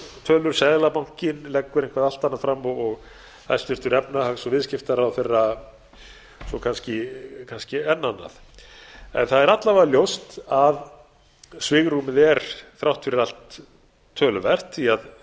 tölur seðlabankinn leggur eitthvað allt annað fram og hæstvirtur efnahags og viðskiptaráðherra enn annað en það er alla vega ljóst að svigrúmið er þrátt fyrir allt töluvert